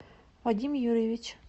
вадим юрьевич